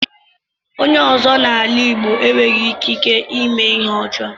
Onye ọ́zọ́ n'ala Igbo enweghị ikike ímé Ihe ọjọọ